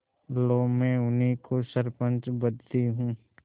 लो मैं उन्हीं को सरपंच बदती हूँ